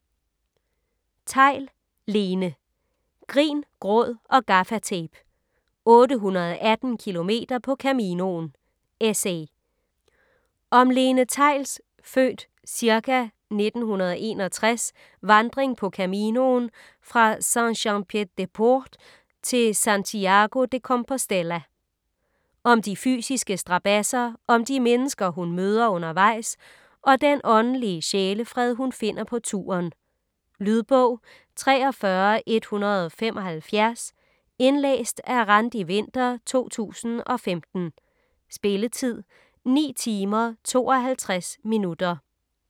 Theill, Lene: Grin, gråd og gaffatape: 818 kilometer på Caminoen: essay Om Lene Theills (f. ca. 1961) vandring på Caminoen fra Saint-Jean-Pied-de-Port til Santiago de Compostela. Om de fysiske strabadser, om de mennesker hun møder undervejs og den åndelige sjælefred hun finder på turen. Lydbog 43175 Indlæst af Randi Winther, 2015. Spilletid: 9 timer, 52 minutter.